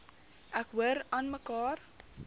ek hoor aanmekaar